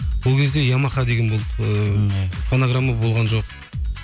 ол кезде ямаха деген болды фанаграмма болған жоқ